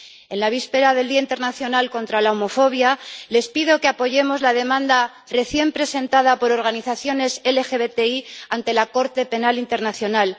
En la víspera del Día Internacional contra la Homofobia, les pido que apoyemos la demanda recién presentada por organizaciones LGBTI ante la Corte Penal Internacional.